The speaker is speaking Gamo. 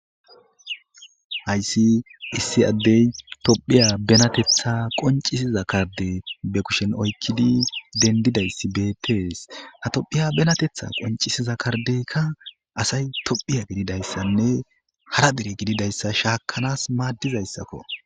hayssi issi addey tophiya benatetha qoncisiza kardey be kushen oykkidi dendidayssi bettees ha tophiya benatetha qoncisiza kardeykka asay tophiya gididayssanne hara dere gididayssa shaakanas maaddizayssakko